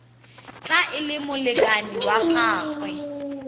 tla le molekane wa gagwe